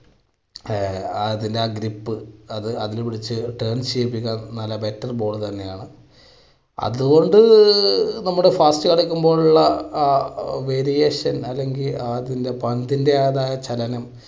ആ അതിൻറെ ആ grip അത് നല്ല better ball തന്നെയാണ്. അതുകൊണ്ട് നമ്മുടെ അടക്കുമ്പോഴുള്ള variation അല്ലെങ്കിൽ അതിൻറെ പന്തിന്റേതായ ചലനം